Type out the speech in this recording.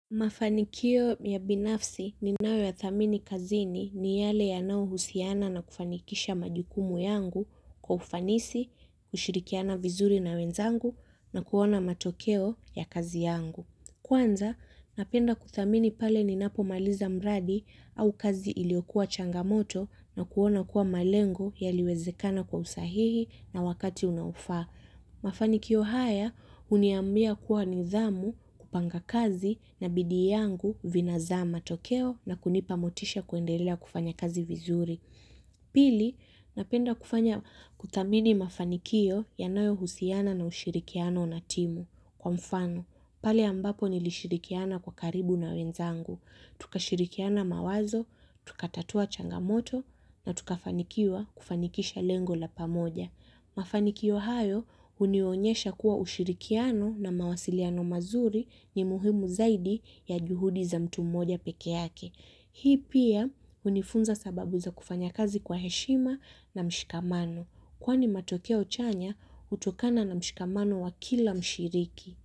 Mafanikio ya binafsi ninayo ya thamini kazini ni yale yanayohusiana na kufanikisha majukumu yangu kwa ufanisi, kushirikiana vizuri na wenzangu na kuona matokeo ya kazi yangu. Kwanza, napenda kuthamini pale ninapomaliza mradi au kazi iliyokuwa changamoto na kuona kuwa malengo yaliwezekana kwa usahihi na wakati unaofaa. Mafanikio haya, huniambia kuwa nidhamu kupanga kazi na bidii yangu vina zaa matokeo na kunipa motisha kuendelea kufanya kazi vizuri. Pili, napenda kuthamini mafanikio yanayohusiana na ushirikiano na timu kwa mfano. Pale ambapo nilishirikiana kwa karibu na wenzangu. Tukashirikiana mawazo, tukatatua changamoto na tukafanikiwa kufanikisha lengo la pamoja. Mafanikio hayo hunionyesha kuwa ushirikiano na mawasiliano mazuri ni muhimu zaidi ya juhudi za mtu mmoja pekee yake. Hii pia hunifunza sababu za kufanya kazi kwa heshima na mshikamano. Kwani matokeo chanya hutokana na mshikamano wa kila mshiriki.